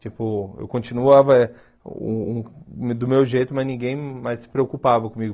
Tipo, eu continuava uh meu do meu jeito, mas ninguém mais se preocupava comigo.